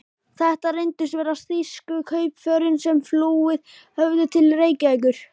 Þetta reyndust vera þýsku kaupförin, sem flúið höfðu til Reykjavíkur.